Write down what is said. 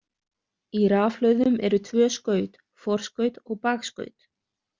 Í rafhlöðum eru tvö skaut, forskaut og bakskaut.